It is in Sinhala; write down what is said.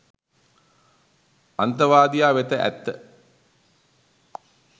අන්තවාදියා වෙත ඇත්ත .